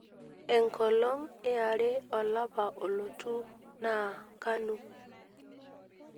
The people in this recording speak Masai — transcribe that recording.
enkolong iare olapa olotu na kanu